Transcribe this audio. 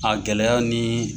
A gɛlɛya ni